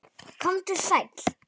Komdu sæll.